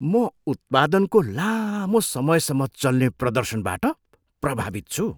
म उत्पादनको लामो समयसम्म चल्ने प्रदर्शनबाट प्रभावित छु।